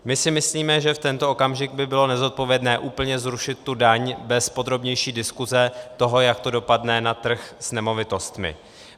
My si myslíme, že v tento okamžik by bylo nezodpovědné úplně zrušit tu daň bez podrobnější diskuse toho, jak to dopadne na trh s nemovitostmi.